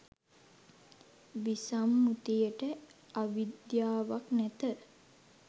විසම්මුතිට අවිද්‍යාවක් නැත.